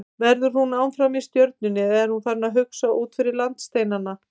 Verður hún áfram í Stjörnunni eða er hún farin að hugsa út fyrir landsteinana?